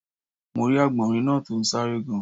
Mo rí Àgbọ̀nrín náa to n sáré gan